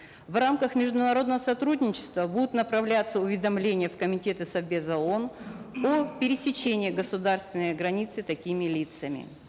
в рамках международного сотрудничества будут направляться уведомления в комитеты совбеза оон о пересечении государственной границы такими лицами